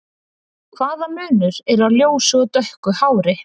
Hvaða munur er á ljósu og dökku hári?